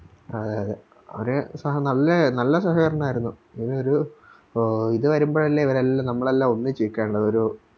ആ അതെ അതെ അവര് സഹ നല്ല സഹകരണവാരുന്നു ഇങ്ങനൊരു ഇത് വരുമ്പഴല്ലേ ഇവരെല്ലാം നമ്മളെല്ലാം ഒന്നിച്ച് നിക്കണ്ടത് ഒരു